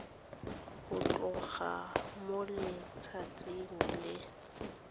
go tloga mo letsatsing le